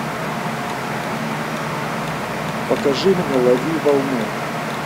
покажи мне лови волну